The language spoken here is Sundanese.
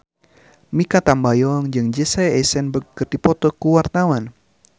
Mikha Tambayong jeung Jesse Eisenberg keur dipoto ku wartawan